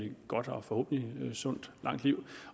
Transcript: et godt og forhåbentlig sundt langt liv